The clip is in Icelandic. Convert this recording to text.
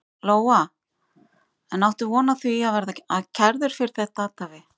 Lóa: En áttu von á því að verða kærður fyrir þetta athæfi?